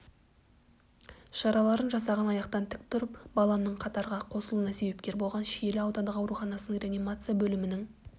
шараларын жасаған аяқтан тік тұрып баламның қатарға қосылуына себепкер болған шиелі аудандық ауруханасының реанимация бөлімінің